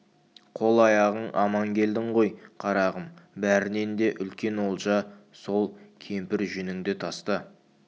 қол-аяғың аман келдің ғой қарағым бәрінен де үлкен олжа сол кемпір жүніңді таста